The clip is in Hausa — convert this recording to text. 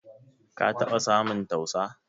Ka taba samun tausa?